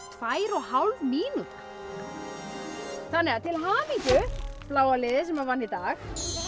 tvær og hálf mínúta til hamingju bláa liðið sem vann í dag